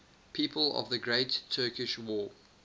people of the great turkish war